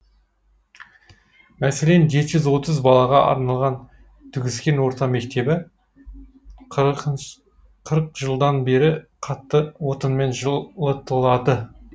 мәселен жеті жүз отыз балаға арналған түгіскен орта мектебі қырық жылдан бері қатты отынмен жылытылады